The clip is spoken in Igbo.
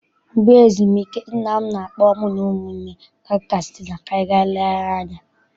Mgbe ezumike, nna m na-akpọ mụ na ụmụnne m aga Katsina ka anyị ga legharia anya.